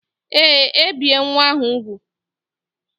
Ee, ebie nwa ahụ úgwù